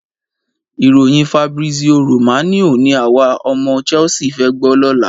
Ìròyìn Fabrizio Romano ni àwa ọmọ Chelsea fẹ́ gbọ́ lọ́la.